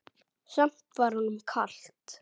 Samt var honum kalt.